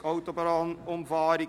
«Autobahnumfahrung